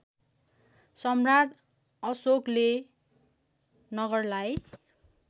सम्राट अशोकले नगरलाई